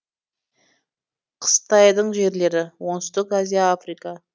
қыстайтын жерлері оңтүстік азия африка